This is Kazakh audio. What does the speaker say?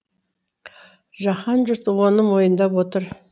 жаһан жұрты оны мойындап отыр